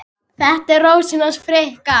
Þetta er Rósin hans Fikka.